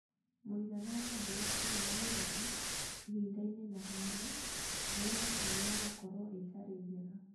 Mũigana wa mbura ĩrĩa yuraga, ihinda-inĩ na handũ, nĩ ĩratanywo gũkorwo ĩtarĩ njega.